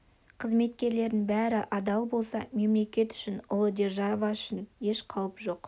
қызметкерлердің бәрі адал болса мемлекет үшін ұлы держава үшін еш қауіп жоқ